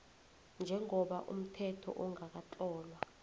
njengoba umthetho ongakatlolwa